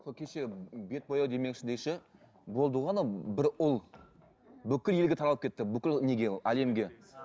сол кеше бет бояу демекші де ше болды ғой анау бір ұл бүкіл елге таралып кетті бүкіл неге әлемге